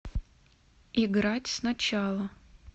играть сначала